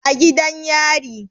A gidan yari